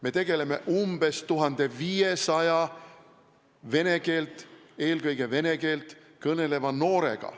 Me tegeleme umbes 1500 vene keeles, eelkõige vene keeles, kõneleva noorega.